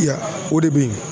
Ya o de bɛ ye.